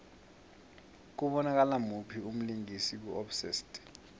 kubonakala muphi umlingisi ku obsessed